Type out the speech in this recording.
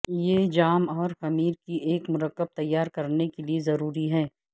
یہ جام اور خمیر کی ایک مرکب تیار کرنے کے لئے ضروری ہے